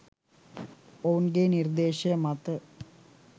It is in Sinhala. ඔවුන්ගේ නිර්දේශය මත